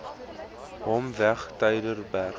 hom weg tygerberg